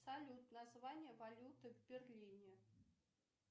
салют название валюты в берлине